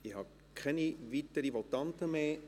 Ich habe keine weiteren Votanten mehr.